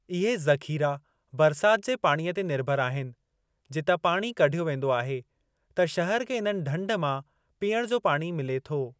इहे ज़ख़ीरा बरसाति जे पाणीअ ते निर्भरु आहिनि, जितां पाणी कढियो वेंदो आहे त शहर खे इन्हनि ढंढ मां पीअण जो पाणी मिले थो।